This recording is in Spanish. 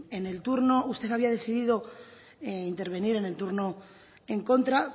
en el turno usted había decidido intervenir en el turno en contra